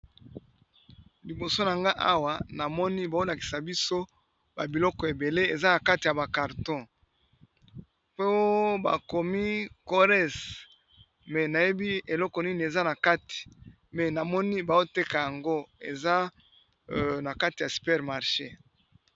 Libido nanfai Awa mazilakisa biso ba carton bakomi keres eza na super marche